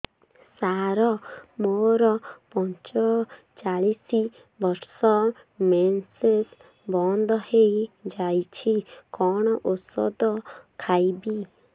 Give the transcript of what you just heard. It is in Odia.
ସାର ମୋର ପଞ୍ଚଚାଳିଶି ବର୍ଷ ମେନ୍ସେସ ବନ୍ଦ ହେଇଯାଇଛି କଣ ଓଷଦ ଖାଇବି